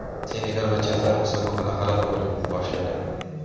Senegal va Jazoir musobaqani g‘alaba bilan boshladi .